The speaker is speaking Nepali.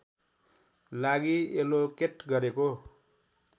लागि एलोकेट गरेको